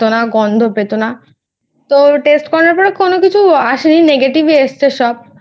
Taste পেতো না গন্ধ পেতো না তো Test করার পর কোনো কিছু আসে নি Negative ই এসেছে সব